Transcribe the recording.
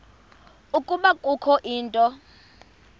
ukuba kukho into